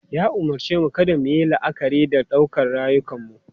Ya umarce mu kada mu yi la'akari da ɗaukar rayukanmu.